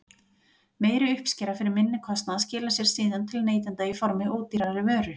Meiri uppskera fyrir minni kostnað skilar sér síðan til neytenda í formi ódýrari vöru.